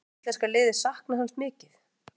Mun íslenska liðið sakna hans mikið?